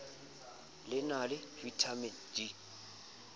le na le vitamin d